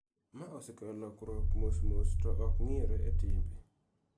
Ma osekelo lokruok mos mos to ok ng�iyore e timbe.